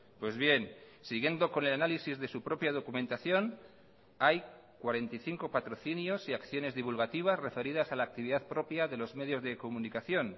pues bien siguiendo con el análisis de su propia documentación hay cuarenta y cinco patrocinios y acciones divulgativas referidas a la actividad propia de los medios de comunicación